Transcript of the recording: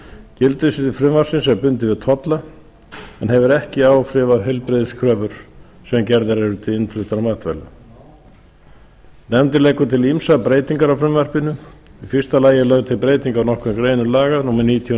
gildissvið frumvarpsins er bundið við tolla og hefur ekki áhrif á heilbrigðiskröfur sem gerðar eru til innfluttra matvæla nefndin leggur til ýmsar breytingar á frumvarpinu í fyrsta lagi er lögð til breyting á nokkrum greinum laga númer níutíu og